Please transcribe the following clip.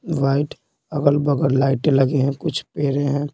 White अगल-बगल लाइटें लगे हैं कुछ पैरे हैं।